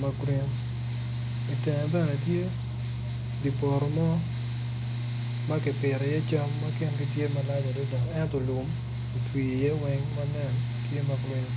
ma gurin itenge bene tye dye poto mo ma kipito iye jami ma kingi tye malac adada ento lum otwi iye weng manen tye ma gurin